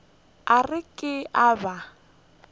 a re ke a ba